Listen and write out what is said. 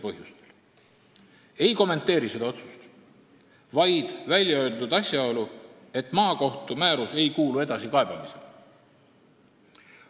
Ma ei kommenteeri seda otsust, vaid kohtu väljaöeldud konstateeringut, et maakohtu määrus ei kuulu edasikaebamisele.